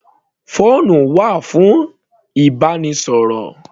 Phone wà fún ìbánisọ̀rọ̀.